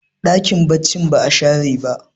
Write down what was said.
dakin bacci ba a share ba